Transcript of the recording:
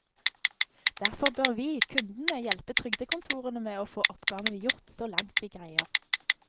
Derfor bør vi, kundene, hjelpe trygdekontorene med å få oppgavene gjort, så langt vi greier.